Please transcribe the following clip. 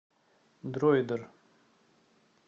дроидер